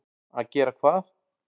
Að gera hvað?